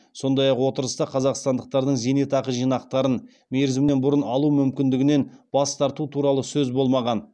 сондай ақ отырыста қазақстандықтардың зейнетақы жинақтарын мерзімінен бұрын алу мүмкіндігінен бас тарту туралы сөз болмаған